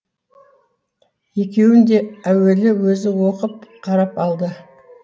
екеуін де әуелі өзі оқып қарап алды